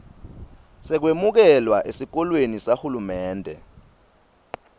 sekwemukelwa esikolweni sahulumende